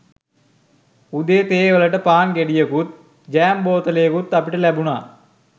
උදේ තේ වලට පාන් ගෙඩියකුත් ජෑම් බෝතලයකුත් අපිට ලැබුණා